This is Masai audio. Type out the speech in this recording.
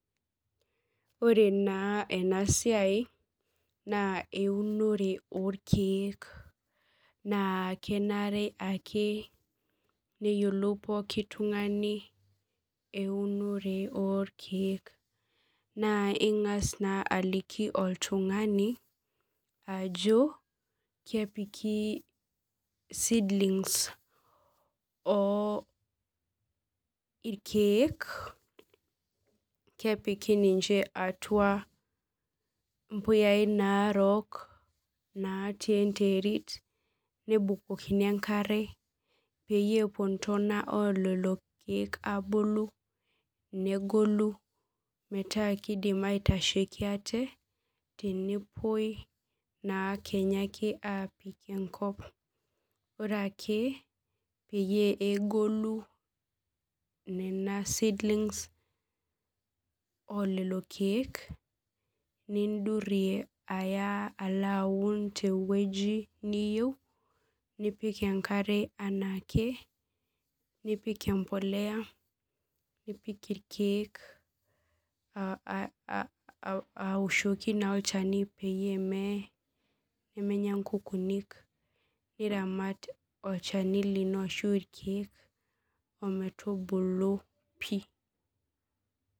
Ore naa enasiai naa eunore oorkier naa kenare ake neyiolou pookin tung'ani eunore orkiek naa ing'as naa aliki oltung'ani ajo kepiki seedlings orkiek kepiki ninche atua impuyai naarok natii enterit nebukokini enkare peepuo intona oolelo kiek abulu metaa keitasheki ate tenepuoi naa Kenya aapik enkop ore ake pee egolu nena seedlings oolelo keik nindurie alo aoun tiai weuji nipik enkare lelo kiek awoshoki naa olchani peemenyaa inkukunik niramat olchani lino pih